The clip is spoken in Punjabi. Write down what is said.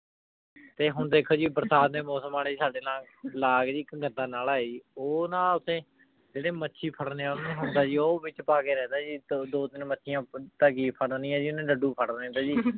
ਤੇ ਹੁਣ ਦੇਖੋ ਜੀ ਬਰਸਾਤ ਦੇ ਮੋਸਮ ਜੀ ਸਾਡੇ ਲਾਗ ਜੀ ਏਇਕ ਗੰਦਾ ਨਾਲਾ ਹੈ ਜੀ ਊ ਨਾ ਓਥੇ ਜੇਰੇ ਮਚੀ ਫਾਰ੍ਨਾਯ ਆਲੀ ਨੂ ਹੁੰਦਾ ਜੀ ਊ ਵਿਚ ਪਾ ਕੇ ਰਹੰਦਾ ਜੀ ਦੋ ਤੀਨ ਮਾਚਿਯਾਂ ਤਾਂ ਕੀ ਫਾਰ੍ਨਿਯਾਂ ਜੀ ਓਨੇ ਦਾਦੂ ਫਾਰ੍ਨਾਯ ਜੀ